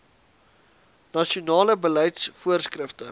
nasionale beleids voorskrifte